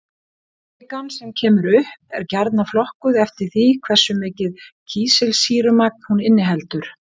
Kvikan sem kemur upp er gjarnan flokkuð eftir því hversu mikið kísilsýrumagn hún inniheldur.